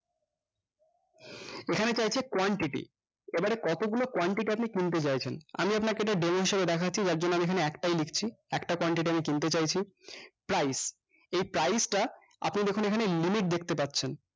এখানে চাইছে quantity এবারে কতগুলো quantity আপনি কিনতে চাইছেন আমি আপনাকে এটা demo হিসেবে দেখাচ্ছি যার জন্যে আমি এখানে একটাই লিখছি একটা quantity আমি কিনতে চাইছি price এই price টা আপনি দেখুন এখানে limit দেখতে পাচ্ছেন